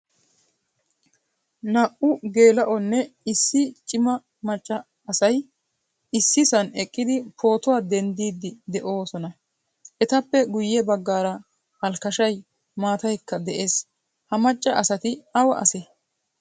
Naa''u gela'onne issi cima maccaa asay ississan eqqidi pootuwaa denddidi deosona. Ettappe guye baggaara alkashay, maataaykka de'ees. Ha macca asati awa ase?